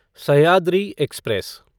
Sahyadri express